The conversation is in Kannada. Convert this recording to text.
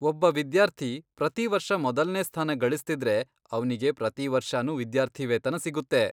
ಒಬ್ಬ ವಿದ್ಯಾರ್ಥಿ ಪ್ರತಿವರ್ಷ ಮೊದಲ್ನೇ ಸ್ಥಾನ ಗಳಿಸ್ತಿದ್ರೆ, ಅವ್ನಿಗೆ ಪ್ರತಿವರ್ಷನೂ ವಿದ್ಯಾರ್ಥಿವೇತನ ಸಿಗುತ್ತೆ.